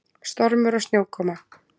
Stormur og snjókoma.